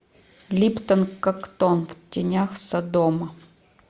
липтон коктон в тенях содома